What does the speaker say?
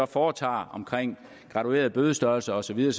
foretager om graduerede bødestørrelser og så videre